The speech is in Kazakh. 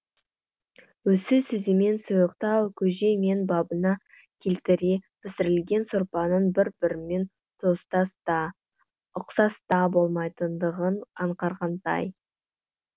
осы сөзімен сұйықтау көже мен бабына келтіре пісірілген сорпаның бір бірімен туыстас та ұқсас та болмайтындығын аңғарғандай